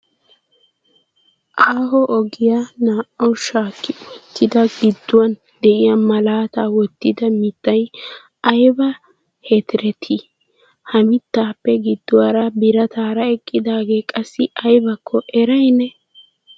Aaho ogiya naa"awu shakkinwottida gidduwan de'iya malaata wottidi mittay aybba heterti? Ha mittappe gidduwaara biraatara eqqidaage qassi aybbakko eray ne?